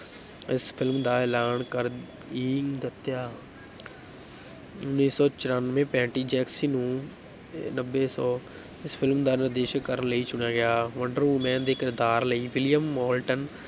ਇਸ film ਦਾ ਐਲਾਨ ਕਰ ਹੀ ਦਿੱਤਾ ਉੱਨੀ ਸੌ ਚੁਰਾਨਵੇਂ ਪੈਟੀ ਜੇਂਕਿੰਸ ਨੂੰ ਨੱਬੇ ਸੌ ਇਸ film ਦਾ ਨਿਰਦੇਸ਼ ਕਰਨ ਲਈ ਚੁਣਿਆ ਗਿਆ, ਵੰਡਰ ਵੁਮੈਨ ਦੇ ਕਿਰਦਾਰ ਲਈ ਵਿਲੀਅਮ ਮੌਲਟਨ